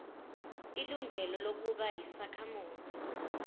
ilungelo lokuba yisakhamuzi